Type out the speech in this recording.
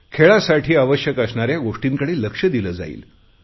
खेळासाठी आवश्यक असणाऱ्या गोष्टींकडे लक्ष दिले जाईल